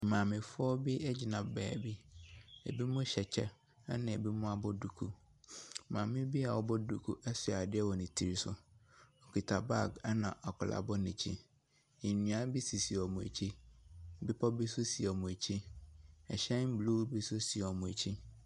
Maamefoɔ bi ɛgyina beebi, ɛbinom hyɛ kyɛ, ɛnabɛbinom abɔ duku. Maame bi a wɔabɔ duku ɛhyɛ adeɛ wɔ ne ti so. Okita baage, ɛna akwadaa ɛbɔ n’akyi. Nnua bi sisi wɔn akyi, bepɔ bi nso si wɔn akyi. Hyɛn blue bi nso si wɔn akyi.